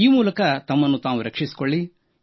ಈ ಮೂಲಕ ತಮ್ಮನ್ನು ತಾವು ರಕ್ಷಿಸಿಕೊಳ್ಳಿ